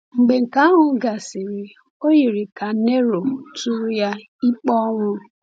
Mgbe nke ahụ gasịrị, o yiri ka Nero tụrụ ya ikpe ọnwụ.